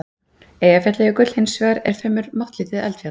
Eyjafjallajökull, hins vegar, er fremur máttlítið eldfjall.